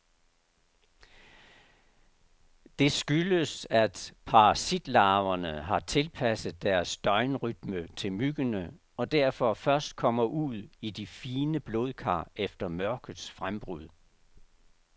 Det skyldes, at parasitlarverne har tilpasset deres døgnrytme til myggene, og derfor først kommer ud i de fine blodkar efter mørkets frembrud.